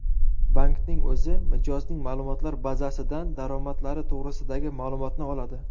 Bankning o‘zi mijozning ma’lumotlar bazasidan daromadlari to‘g‘risidagi ma’lumotni oladi.